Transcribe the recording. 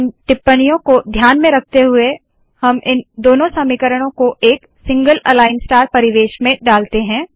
इन टिप्पणियों को ध्यान में रखते हुए हम इन दोनों समीकरणों को एक सिंगल अलाइन स्टार परिवेश में डालते है